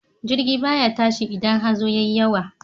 Jirgi ba ya tashi idan hazo ya yi yawa.